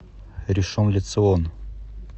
ришон ле цион